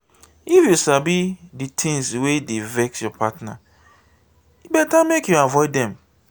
if you sabi di tins wey dey vex your partner e beta make you avoid dem.